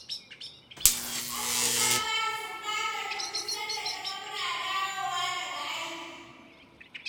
Yarmu ta fara sumbatar mu duk sanda ta ga muna dawowa daga aiki.